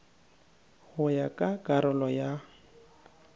go ya ka karolo ya